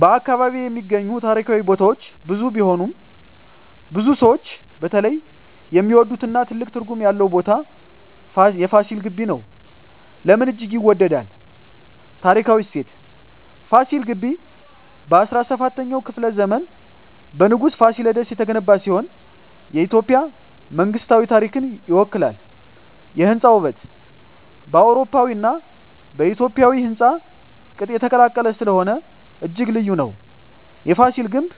በ አካባቢ የሚገኙ ታሪካዊ ቦታዎች ብዙ ቢሆኑም፣ ብዙ ሰዎች በተለይ የሚወዱትና ትልቅ ትርጉም ያለው ቦታ የFasil Ghebbi (ፋሲል ግቢ) ነው። ለምን እጅግ ይወዳል? ታሪካዊ እሴት: ፋሲል ግቢ በ17ኛው ክፍለ ዘመን በንጉሥ Fasilides የተገነባ ሲሆን፣ የኢትዮጵያ መንግሥታዊ ታሪክን ይወክላል። የሕንፃ ውበት: በአውሮፓዊና በኢትዮጵያዊ ሕንፃ ቅጥ የተቀላቀለ ስለሆነ እጅግ ልዩ ነው። የፍሲል ግምብ